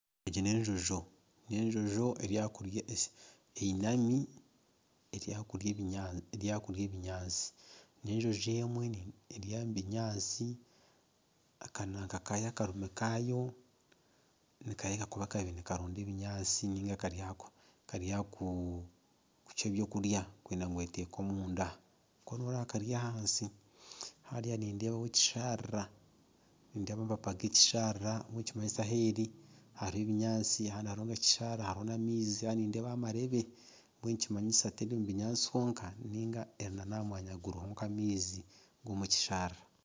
Egi n'enjojo, n'enjojo einami eri aha kurya ebinyaatsi n'enjojo emwe eri omu binyaatsi akarimi kaayo nikareebeka kuba nikaronda ebinyaatsi niga kari aha kucwa eby'okurya kwenda ngu eteeke omunda koona noreeba kari ahansi hariya nindeebaho ekisharara nindeeba amapapa g'ekisharara mbwenu nikimanyisa eheeri hariho ebinyaatsi hanu hari n'ekisharara hariho n'amaizi kandi nindeebaho amareebe mbwenu nikimanyisa terimu binyaatsi honka niga eri n'aha mwanya guriho nk'amaizi g'omu kisharara.